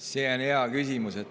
See on hea küsimus.